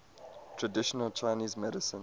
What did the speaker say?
traditional chinese medicine